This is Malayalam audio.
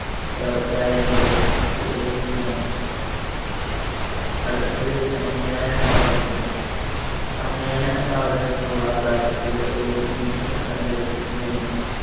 എന്നിവ വിധേയമാണ്. അടുത്തത് സമ്മേളന സ്വാതന്ത്ര്യം. സമ്മേളന സ്വാതന്ത്ര്യത്തിനുള്ള അവകാശത്തില് ഒരു meeting സംഘടിപ്പിക്കുന്നതിനും